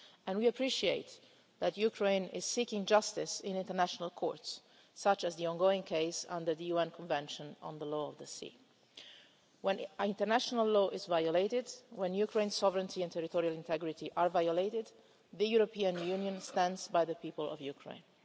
We appreciate that Ukraine is seeking justice in international courts, such as the ongoing case under the UN Convention on the Law of the Sea. When international law is violated, when Ukraine's sovereignty and territorial integrity are violated, the European Union stands by the people of Ukraine.